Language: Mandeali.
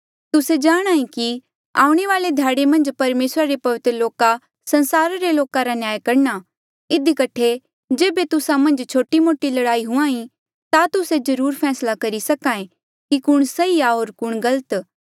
तुस्से जाणांहे कि आऊणें वाले ध्याड़े मन्झ परमेसरा रे पवित्र लोका संसारा रे लोका रा न्याय करणा इधी कठे जेबे तुस्सा मन्झ छोटे लड़ाईया हुई ता तुस्से जरुर फैसला करी सके कि कुण सही आ होर कुण गलत